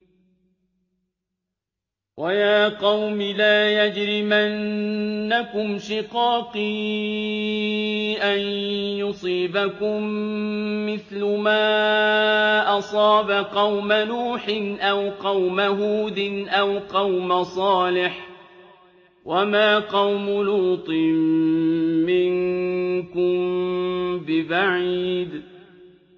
وَيَا قَوْمِ لَا يَجْرِمَنَّكُمْ شِقَاقِي أَن يُصِيبَكُم مِّثْلُ مَا أَصَابَ قَوْمَ نُوحٍ أَوْ قَوْمَ هُودٍ أَوْ قَوْمَ صَالِحٍ ۚ وَمَا قَوْمُ لُوطٍ مِّنكُم بِبَعِيدٍ